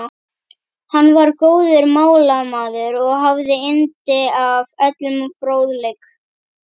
Hann var góður málamaður og hafði yndi af öllum fróðleik.